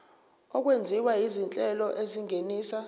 okwenziwa izinhlelo ezingenisa